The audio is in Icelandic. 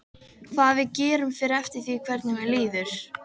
Hvað við gerum fer eftir því hvernig mér líður.